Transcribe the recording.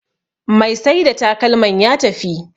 Mai Saida takalman ya tafi